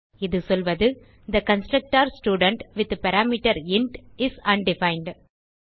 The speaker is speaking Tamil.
இது சொல்வது the constructor student with parameter is undefined